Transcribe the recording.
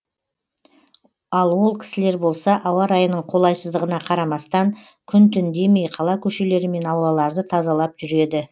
ал ол кісілер болса ауа райының қолайсыздығына қарамастан күн түн демей қала көшелері мен аулаларды тазалап жүреді